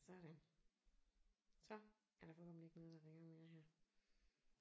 Sådan. Så er der forhåbentlig ikke noget der ringer mere her